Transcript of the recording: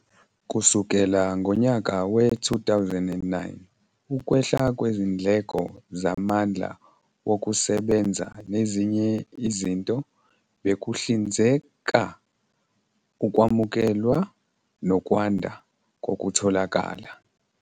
Kusukela ngonyaka we-2009, ukwehla kwezindleko zamandla wokusebenza nezinye izinto bekuhlinzeka ukwamukelwa nokwanda kokutholakala.